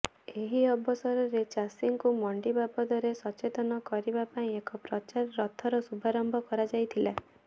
ଏହି ଅବସରରେ ଚାଷୀଙ୍କୁ ମଣ୍ଡି ବାବଦରେ ସଚେତନ କରିବା ପାଇଁ ଏକ ପ୍ରଚାର ରଥର ଶୁଭାରମ୍ଭ କରାଯାଇଥିଲା